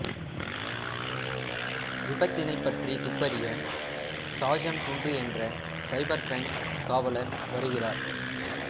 விபத்தினை பற்றி துப்பறிய சாஜன் குண்டு என்ற சைபர் கிரைம் காவலர் வருகிறார்